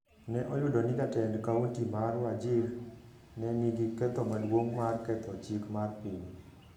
ne oyudo ni jatend kaonti mar Wajir ne nigi ketho maduong’ mar ketho chik mar piny